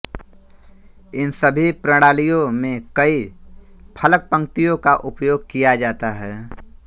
इन सभी प्रणालियों में कई फलकपंक्तियों का उपयोग किया जाता है